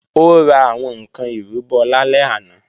Ó ra àwọn ǹkan ìrúbọ lálẹ́ àná